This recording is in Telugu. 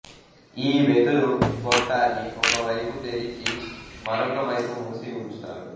ఈ వెదురు గొట్టాన్ని ఒకవైపు తేరిచి మరొక వైపు మూసి ఉంచుతారు